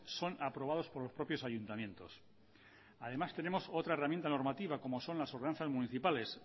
son aprobados por los propios ayuntamientos además tenemos otra herramienta normativa como son las ordenanzas municipales